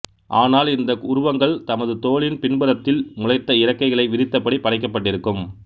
ஆனால் இந்த உருவங்கள் தமது தோளின் பின்புறத்தில் முளைத்த இறக்கைகளை விரித்தபடி படைக்கப்பட்டிருக்கும்